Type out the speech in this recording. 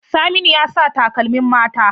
Saminu ya sa takalmin mata.